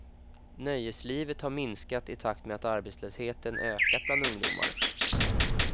Nöjeslivet har minskat i takt med att arbetslösheten ökat bland ungdomar.